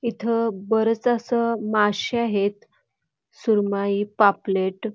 इथ बरच असे मासे आहेत सुरमई पापलेट.